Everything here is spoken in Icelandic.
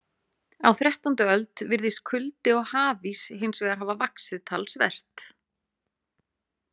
Á þrettándu öld virðist kuldi og hafís hins vegar hafa vaxið talsvert.